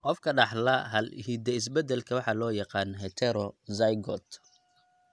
Qofka dhaxla hal hidde-is-bedelka waxa loo yaqaan heterozygote.